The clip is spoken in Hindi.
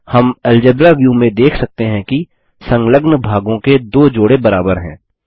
हम अल्जेब्रा व्यू में देख सकते हैं कि संलग्न भागों के 2 जोड़े बराबर हैं